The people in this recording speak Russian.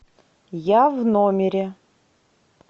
я в номере